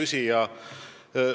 Hea küsija!